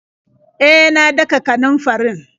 E, na daka kanunfarin.